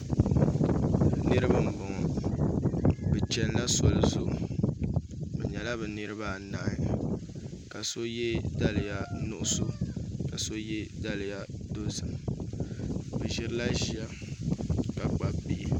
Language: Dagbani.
Niraba n boŋo bi chɛnila soli zuɣu bi nyɛla bi niraba anahi ka so yɛ daliya nuɣso ka so yɛ daliya dozim bi ʒirila ʒiya ka kpabi bihi